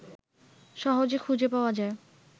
সহজে খুঁজে পাওয়া যায়